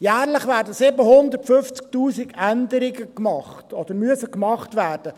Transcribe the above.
Jährlich müssen 750’000 Änderungen gemacht werden.